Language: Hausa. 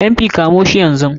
MP,kamshi yanzun Nan.